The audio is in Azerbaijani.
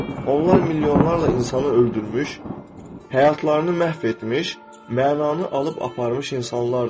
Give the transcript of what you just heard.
Onlar milyonlarla insanı öldürmüş, həyatlarını məhv etmiş, mənanı alıb aparmış insanlardır.